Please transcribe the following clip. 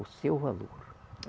O seu valor.